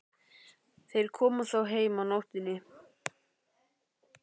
Þeir koma þó heim á nóttunni.